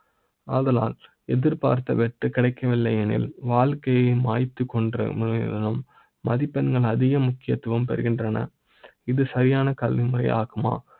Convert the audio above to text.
அதனால் எதிர்பார்த்த வெற்றி கிடைக்க வில்லை எனில்வாழ்க்கை யே மாய்த்துக்கொண்ட மதிப்பெண்கள் அதிக முக்கியத்துவ ம் பெறகின்றன . இது சரியான காலமாக ஆகுமா